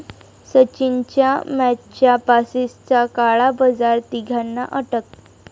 सचिनच्या मॅचच्या पासेसचा काळा बाजार, तिघांना अटक